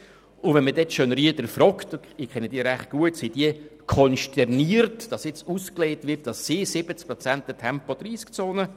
Und wenn man dann die Schönrieder fragt – ich kenne diese recht gut –, sind sie konsterniert, dass nun ausgelegt wird, 70 Prozent wünschten eine Tempo-30 Zone.